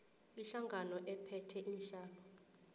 ihlangano ephethe iinhlalo